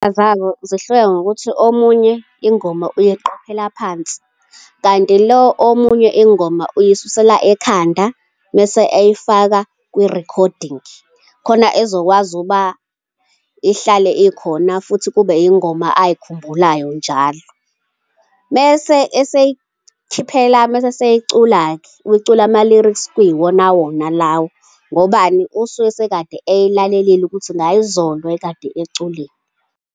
zabo zihluke ngokuthi omunye ingoma uyiqhophela phansi, kanti lo omunye ingoma uyisusela ekhanda, mese eyifaka kwi-recording, khona ezokwazi ukuba ihlale ikhona futhi kube iy'ngoma ay'khumbulayo njalo. Mese eseyikhiphela, mese esey'cula-ke, ucula ama-lyrics kuyiwonawona lawo, ngobani? Usuke sekade ey'lalelile ukuthi ngayizolo wayekade eculeni.